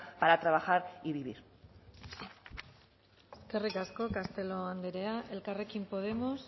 para trabajar y vivir eskerrik asko castelo andrea elkarrekin podemos